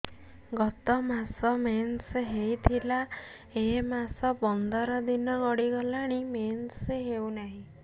ଗତ ମାସ ମେନ୍ସ ହେଇଥିଲା ଏ ମାସ ପନ୍ଦର ଦିନ ଗଡିଗଲାଣି ମେନ୍ସ ହେଉନାହିଁ